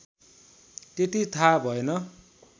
त्यति थाहा भएन